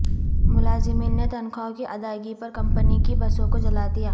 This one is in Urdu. ملازمین نے تنخواہوں کی ادائیگی پر کمپنی کی بسوں کو جلا دیا